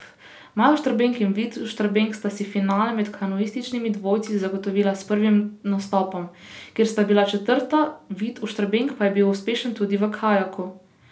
Maj Oštrbenk in Vid Oštrbenk sta si finale med kanuističnimi dvojci zagotovila s prvim nastopom, kjer sta bila četrta, Vid Oštrbenk pa je bil uspešen tudi v kajaku.